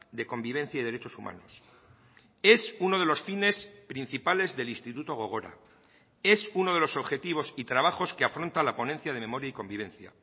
de convivencia y derechos humanos es uno de los fines principales del instituto gogora es uno de los objetivos y trabajos que afronta la ponencia de memoria y convivencia